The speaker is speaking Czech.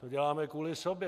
To děláme kvůli sobě.